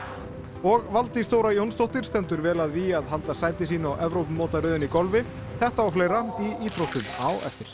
og Valdís Þóra Jónsdóttir stendur vel að vígi að halda sæti sínu á Evrópumótaröðinni í golfi þetta og fleira í íþróttum á eftir